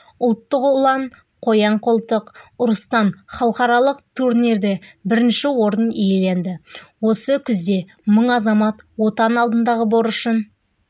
ұлттық ұлан қоян-қолтық ұрыстан халықаралық турнирде бірінші орын иеленді осы күзде мың азамат отан алдындағы борышын